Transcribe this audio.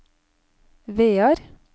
Vear